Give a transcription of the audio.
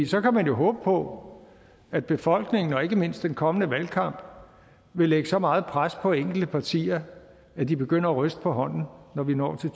så kan man jo håbe på at befolkningen og ikke mindst den kommende valgkamp vil lægge så meget pres på enkelte partier at de begynder at ryste på hånden når vi når til